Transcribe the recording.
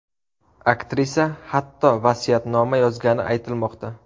Aktrisa, hatto vasiyatnoma yozgani aytilmoqda.